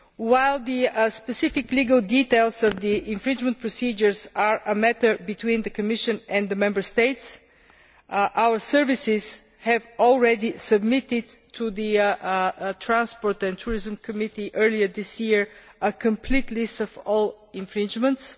While the specific legal details of the infringement procedures are a matter between the Commission and the Member States, our services have already submitted to the Committee on Transport and Tourism, earlier this year, a complete list of all infringements.